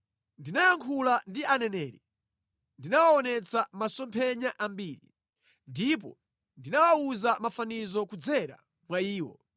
Ndinayankhula ndi aneneri, ndinawaonetsa masomphenya ambiri, ndipo ndinawawuza mafanizo kudzera mwa iwo.”